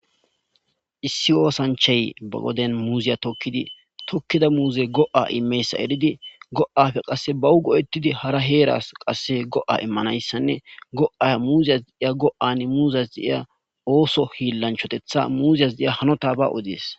Issi ossanchchay ba wodiyan muuze tookidi tookida muuzey go'a immiyayssa eeridi go'ppe qasse bawu goe'etidi qasse haara heerasi qasse go'a immanayssanne muuzasi diiza osso hiilancha muuzes diiza hanottaba oddes.